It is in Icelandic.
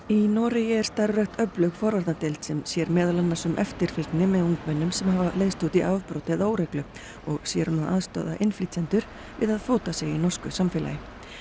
í Noregi er starfrækt öflug forvarnardeild sem sér meðal annars um eftirfylgni með ungmennum sem hafa leiðst út í afbrot eða óreglu og sér um að aðstoða innflytjendur við að fóta sig í norsku samfélagi